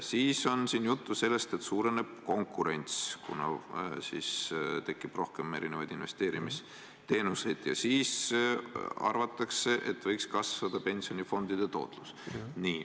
Veel on siin juttu sellest, et suureneb konkurents, kuna tekib rohkem erinevaid investeerimisteenuseid, ja siis võiks ka kasvada pensionifondide tootlus.